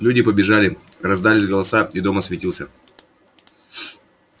люди побежали раздались голоса и дом осветился